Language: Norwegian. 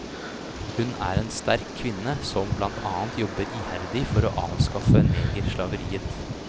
Hun er en sterk kvinne som blant annet jobber iherdig for å avskaffe negerslaveriet.